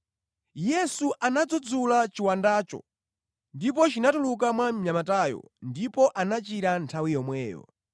Yesu anadzudzula chiwandacho ndipo chinatuluka mwa mnyamatayo ndipo anachira nthawi yomweyo.